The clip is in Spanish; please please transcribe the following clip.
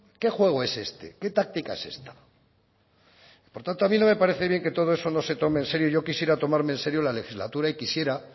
qué juego es este qué táctica es esta por tanto a mí no me parece que todo eso no se tome en serio yo quisiera tomarme en serio la legislatura y quisiera